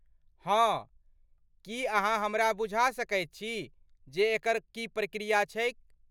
हँ, की अहाँ हमरा बुझा सकैत छी जे एकर की प्रक्रिया छैक?